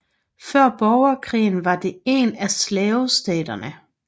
Før Borgerkrigen var det en af slavestaterne